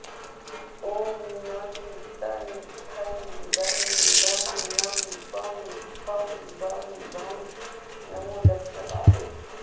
ॐ णं तं थं दं धं नं पं फं बं भं नमो दक्ष पादे